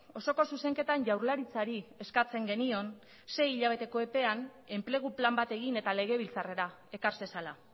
osoko zuzenketan jaurlaritzari eskatzen genion sei hilabeteko epean enplegu plan bat egin eta legebiltzarrera ekar zezala